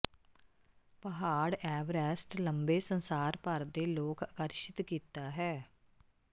ਪਹਾੜ ਐਵਰੈਸਟ ਲੰਬੇ ਸੰਸਾਰ ਭਰ ਦੇ ਲੋਕ ਆਕਰਸ਼ਿਤ ਕੀਤਾ ਹੈ